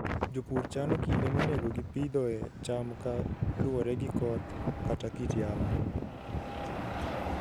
Jopur chano kinde monego gipidhoe cham ka luwore gi koth kata kit yamo.